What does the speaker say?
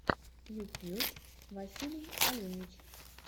ютьюб василий оленич